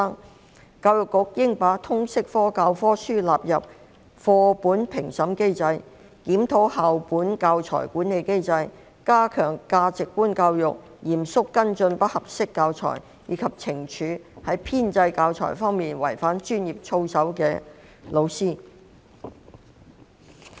有委員建議，教育局應把通識科教科書納入課本評審機制、檢討有關校本教材管理機制、加強推廣價值觀教育、嚴肅跟進不合適教材，以及懲處在編製教材方面違反專業操守的教師。